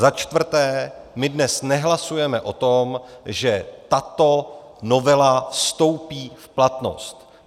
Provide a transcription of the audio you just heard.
Za čtvrté, my dnes nehlasujeme o tom, že tato novela vstoupí v platnost.